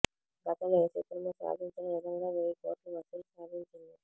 గతంలో ఏ చిత్రమూ సాధించని విధంగా వెయ్యి కోట్లు వసూళ్లు సాధించింది